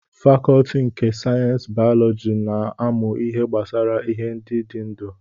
Fakọọti nke sayensị bayọlọji na-amụ ihe gbasara ihe ndị dị ndụ